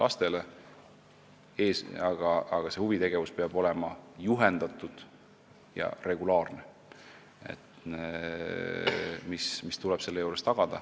Selle juures tuleb tagada, et see on juhendatud ja regulaarne huvitegevus.